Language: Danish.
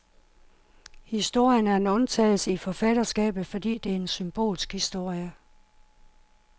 Historien er en undtagelse i forfatterskabet, fordi det er en symbolsk historie.